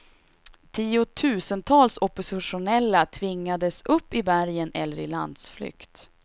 Tiotusentals oppositionella tvingades upp i bergen eller i landsflykt.